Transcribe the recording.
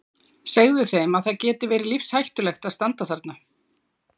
Segðu þeim að það geti verið lífshættulegt að standa þarna.